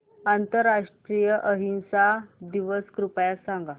आंतरराष्ट्रीय अहिंसा दिवस कृपया सांगा